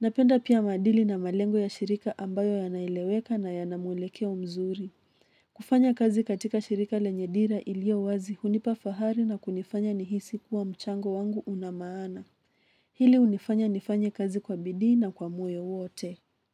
Napenda pia maadili na malengo ya shirika ambayo yana eleweka na yana mwelekeo mzuri. Kufanya kazi katika shirika lenye dira ilio wazi hunipa fahari na kunifanya nihisi kuwa mchango wangu una maana. Hili hunifanya nifanye kazi kwa bidii na kwa moyo wote.